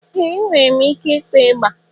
Ee! Enwere m ike ịkpọ ịgbà.